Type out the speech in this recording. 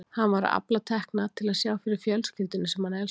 Hann var að afla tekna til að sjá fyrir fjölskyldunni sem hann elskaði.